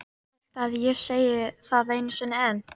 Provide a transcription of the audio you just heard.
Viltu að ég segi það einu sinni enn?